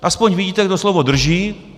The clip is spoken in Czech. Aspoň vidíte, kdo slovo drží.